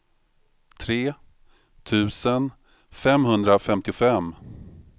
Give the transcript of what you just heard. tre tusen femhundrafemtiofem